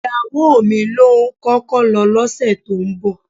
Ìyàwó mi ló ń kọ́kọ́ lọ lọ́sẹ̀ tó ń bọ̀